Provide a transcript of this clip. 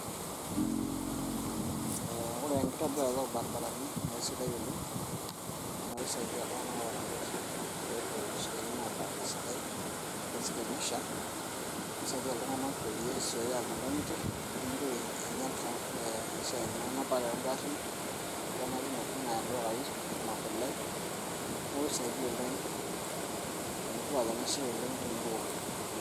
ore ekitobirata oo irbaribarani naa keisidai oleng', naa kisaidia iltung'anak oota igarin, pee epuo isiatin abaya esidai, ore sii tenesha nisaidia iltung'anak peyie esioyo apuo inkang'itie nimitoki angial esiai enapare oo garin ashu enapi intokitin aya ildukai enaa kule neku enetipat oshi enasiai oleng'.